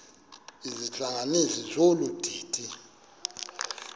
izihlanganisi zolu didi